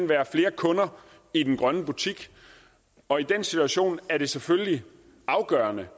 være flere kunder i den grønne butik og i den situation er det selvfølgelig afgørende